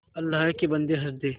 अल्लाह के बन्दे हंस दे